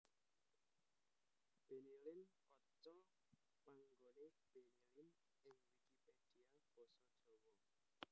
Bennylin kaca panganggoné Benny Lin ing Wikipedia basa Jawa